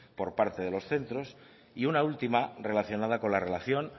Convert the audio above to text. por parte de los centros y una última relacionada con la relación